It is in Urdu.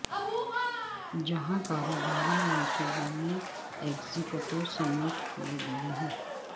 جہاں کاروباری منصوبوں میں ایگزیکٹو سمیٹ کئے گئے ہیں